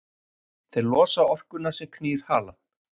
þeir losa orkuna sem knýr halann